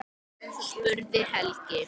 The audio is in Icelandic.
spurði Helgi.